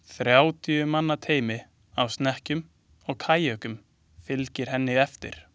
Þrjátíu manna teymi á snekkjum og kajökum fylgir henni eftir.